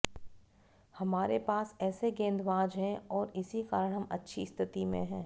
हमारे पास ऐसे गेंदबाज हैं और इसी कारण हम अच्छी स्थिति में हैं